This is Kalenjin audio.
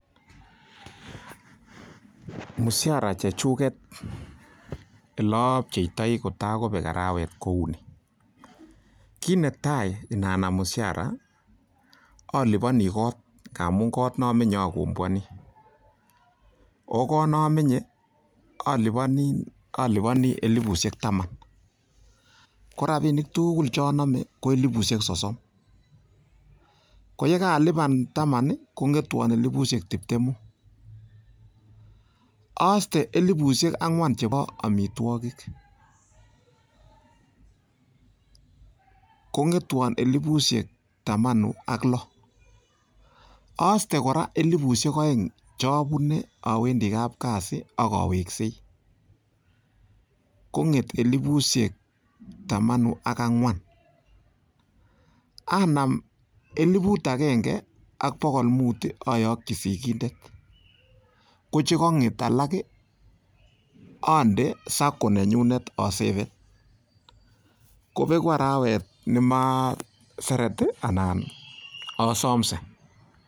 Mshahara chechuget ele opcheitoi kotagobek arawet kou ni: kit netai inanam mshahara oliponi kot, ngamun kot ne omenye oliponi oh kot ne omenye oliponi elipushek taman. Ko rabinik tugul che onome ko elipushek sosom, ko ye kaalipan taman kong'etwon elipushek tibtemu aste elipushek ang'wan chebo amitwogik, kong'etwon elipushek tamanu ak lo, oste koa elipushek oeng che abune awendi kapkazi ak aweksei, kong'et elipushek tamanu ak ang'wan, anam eliput agenge ak bogol mut ayoki sigindet kochekong'et alak onde SACCO nenyune aseven, ko begu arawet ne maseret anan asomse.